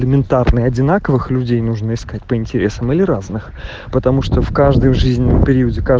элементарные одинаковых людей нужно искать по интересам в разных потому что в каждую жизнь пи